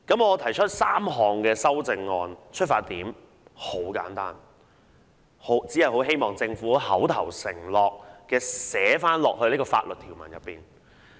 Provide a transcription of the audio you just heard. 我提出3項修訂議案的出發點十分簡單，只是希望將政府的口頭承諾寫入條文。